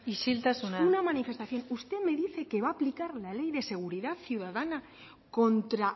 isiltasuna una manifestación usted me dice que va a aplicar la ley de seguridad ciudadana contra